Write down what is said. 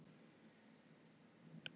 Oddveig, hvenær kemur leið númer átján?